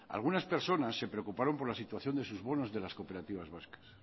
algunas personas se preocuparon por la situación de sus bonos de las cooperativas vascas